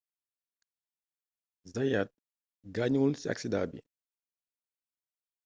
zayaat gaañuwul ci aksidaa bi